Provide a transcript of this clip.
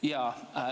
Jaa.